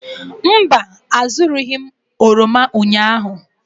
Mba, azụrụghị m oroma ụnyahụ.